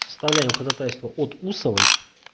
составляем ходатайство от усовой